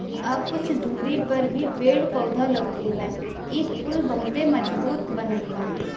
अब कुछ दूरी पर भी पेड़-पौधा लौके ला। ई पुल बहते मजबूत बनलबा ।